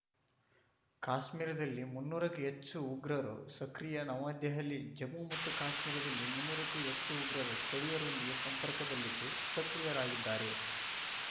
ಕಾಶ್ಮೀರದಲ್ಲಿ ಮುನ್ನೂರಕ್ಕೂ ಹೆಚ್ಚು ಉಗ್ರರು ಸಕ್ರಿಯ ನವದೆಹಲಿ ಜಮ್ಮು ಮತ್ತು ಕಾಶ್ಮೀರದಲ್ಲಿ ಮುನ್ನೂರಕ್ಕೂ ಹೆಚ್ಚು ಉಗ್ರರು ಸ್ಥಳೀಯರೊಂದಿಗೆ ಸಂಪರ್ಕದಲ್ಲಿದ್ದು ಸಕ್ರಿಯರಾಗಿದ್ದಾರೆ